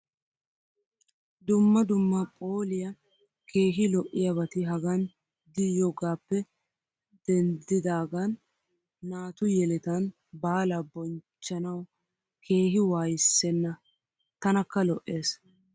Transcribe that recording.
dumma dumma phooliya keehi lo'iyabati hagan di Yoo gappe denddidaagan naatu yelettan baalaa bonch chanawu keehi waayi Senna. tanakka Lo'ees.